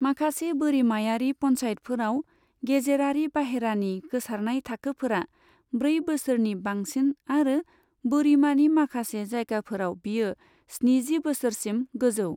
माखासे बोरिमायारि पन्चायतफोराव गेजेरारि बाहेरानि गोसारनाय थाखोफोरा ब्रै बोसोरनि बांसिन आरो बोरिमानि माखासे जायगाफोराव बियो स्निजि बोसोरसिम गोजौ।